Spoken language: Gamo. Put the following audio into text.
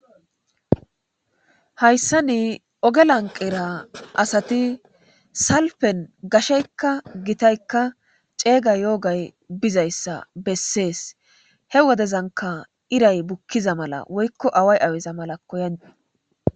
Hayssa ni oge lanqira asati salpen gasheykka gitaykka ceeyga yoogay bizayssa bessees he wodezanka iray bukkiza mala woykko away awiza mala koyani.